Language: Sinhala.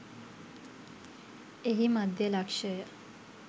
එහි මධ්‍ය ලක්ෂය